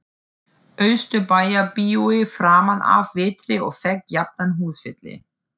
Austurbæjarbíói framanaf vetri og fékk jafnan húsfylli.